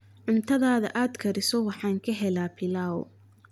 Cuntada aad kariso waxaan ka helaa pilau